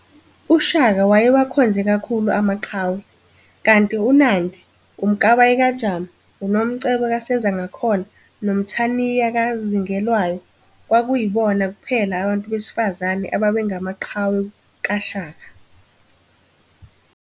uShaka waye wakhonze khakhulu amaqhawe, kanti uNandi, uMkabayi kaJama, uNomcebo kaSenzangakhona noMthaniya kaZingelwayo kwakuyibona kuphela abantu besifazane ababengamaqhawe kaShaka